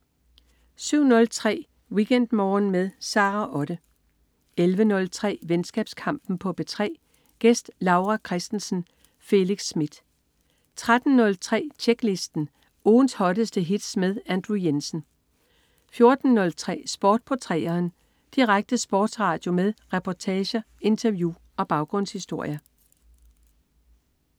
07.03 WeekendMorgen med Sara Otte 11.03 Venskabskampen på P3. Gæst: Laura Christensen. Felix Smith 13.03 Tjeklisten. Ugens hotteste hits med Andrew Jensen 14.03 Sport på 3'eren. Direkte sportsradio med reportager, interview og baggrundshistorier